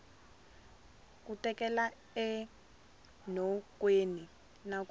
ku tekela enhlokweni na ku